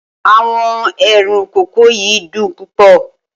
Awọn eerun koko yi dun pupọ